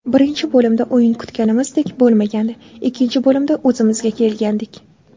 Birinchi bo‘limda o‘yin kutganimizdek bo‘lmagandi, ikkinchi bo‘limda o‘zimizga kelgandik.